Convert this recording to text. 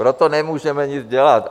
Proto nemůžeme nic dělat.